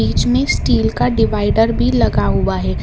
बीच में स्टील का डिवाइडर भी लगा हुआ है।